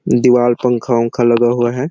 दीवाल पंखा -ऊँखा लगा हुआ हैं।